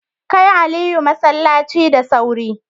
Kai Aliyu masallaci da sauri.